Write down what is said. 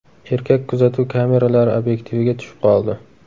Erkak kuzatuv kameralari obyektiviga tushib qoldi.